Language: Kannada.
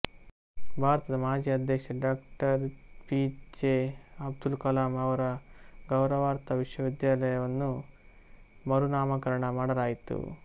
ಭಾರತದ ಮಾಜಿ ಅಧ್ಯಕ್ಷ ಡಾ ಪಿ ಜೆ ಅಬ್ದುಲ್ ಕಲಾಂ ಅವರ ಗೌರವಾರ್ಥ ವಿಶ್ವವಿದ್ಯಾಲಯವನ್ನು ಮರುನಾಮಕರಣ ಮಾಡಲಾಯಿತು